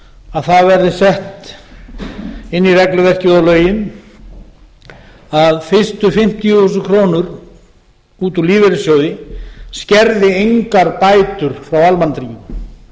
að það verði sett inn í regluverkið og lögin að fyrstu fimmtíu þúsund krónur út úr lífeyrissjóði skerði engar bætur frá almannatryggingum